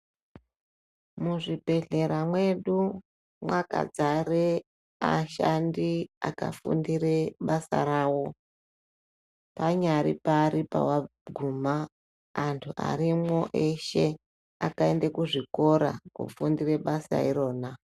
Mu zvibhehlera mwedu mwaka dzare ashandi aka fundire basa rawo anyari pavari pawa guma antu arimwo eshe akaende ku zvikora ko fundire basa irona.